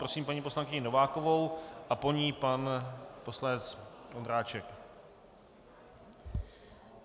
Prosím paní poslankyni Novákovou a po ní pan poslanec Ondráček.